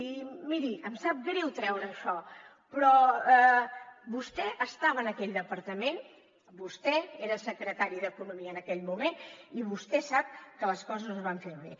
i miri em sap greu treure això però vostè estava en aquell departament vostè era el secretari d’economia en aquell moment i vostè sap que les coses no es van fer bé